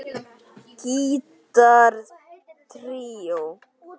Gítar tríó